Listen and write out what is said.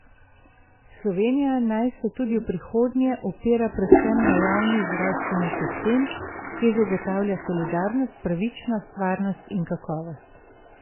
Slovenija naj se tudi v prihodnje opira predvsem na javni zdravstveni sistem, ki zagotavlja solidarnost, pravičnost, varnost in kakovost.